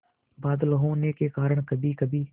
बादल होने के कारण कभीकभी